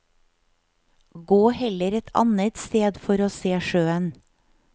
Gå heller et annet sted for å se sjøen.